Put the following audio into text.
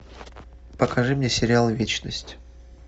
покажи мне сериал вечность